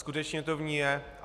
Skutečně to v ní je.